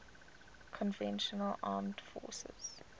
conventional armed forces